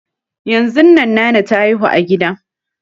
Yanzun nan nana ta haihu a gida